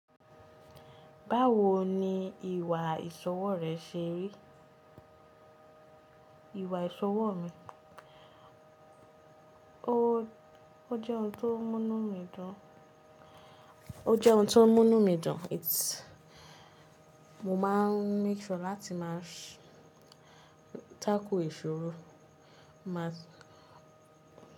Báwo ni ìwà ìṣọwọ́ rẹ ṣe rí? Ìwà ìṣọwọ́ mi? O jẹ́ oun tó mú inu mí dùn, its Mo máa ń make sure láti máa tackle ìṣòro, máa.